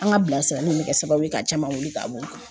An ka bilasirali in kɛ sababu ye ka caman wuli ka bɔ o kan.